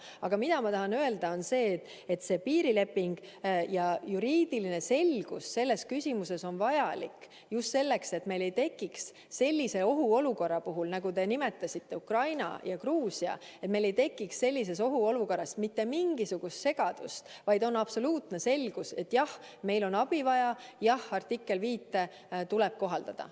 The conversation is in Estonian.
Aga mida ma tahan öelda, on see, et piirileping ja juriidiline selgus selles küsimuses on vajalik just selleks, et meil ei tekiks sellise ohuolukorra puhul, nagu oli Ukrainas ja Gruusias, mitte mingisugust segadust, vaid oleks absoluutne selgus, et jah, meil on abi vaja, jah, artiklit 5 tuleb kohaldada.